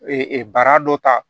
Ee bara dɔ ta